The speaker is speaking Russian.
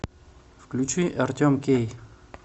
включи артем кей